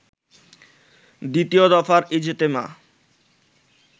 দ্বিতীয় দফার ইজতেমা